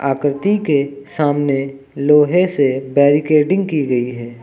आकृति के सामने लोहे से बैरिकेटिंग की गई है।